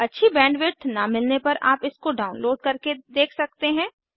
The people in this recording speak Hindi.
अच्छी बैंडविड्थ न मिलने पर आप इसको डाउनलोड करके देख सकते हैं